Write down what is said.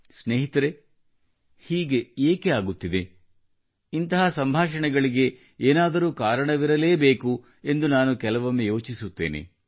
ಸ್ನೇಹಿತರೇ ಹೀಗೆ ಏಕೆ ಆಗುತ್ತಿದೆ ಇಂತಹ ಸಂಭಾಷಣೆಗಳಿಗೆ ಏನಾದರೂ ಕಾರಣವಿರಲೇ ಬೇಕು ಎಂದು ನಾನು ಕೆಲವೊಮ್ಮೆ ಯೋಚಿಸುತ್ತೇನೆ